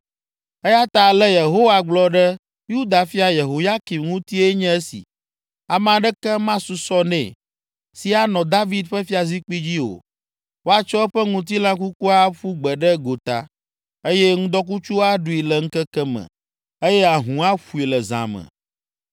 Eya ta ale Yehowa gblɔ ɖe Yuda fia Yehoyakim ŋutie nye si: Ame aɖeke masusɔ nɛ, si anɔ David ƒe fiazikpui dzi o, woatsɔ eƒe ŋutilã kukua aƒu gbe ɖe gota, eye ŋdɔkutsu aɖui le ŋkeke me eye ahũ aƒoe le zã me.